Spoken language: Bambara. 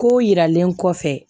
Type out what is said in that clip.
Kow yiralen kɔfɛ